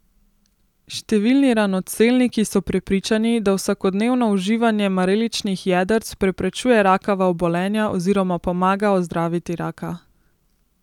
Številni ranocelniki so prepričani, da vsakodnevno uživanje mareličnih jedrc preprečuje rakava obolenja oziroma pomaga ozdraviti raka.